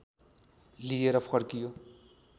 लिएर फर्कियो